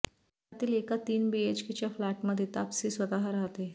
त्यातील एका तीन बीएचकेच्या फ्लॅटमध्ये तापसी स्वतः राहते